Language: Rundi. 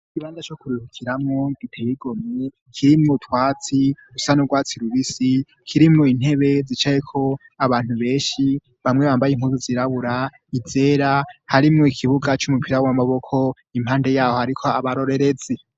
Ibanda co kurihukiramwo giteyigo mye kirimo twatsi usan'urwatsi lubisi kirimo intebe zicayeko abantu benshi bamwe bambaye inkuzu zirabura izera harimo ikibuga c'umupira w'amaboko impande yaho, ariko abarorerezi.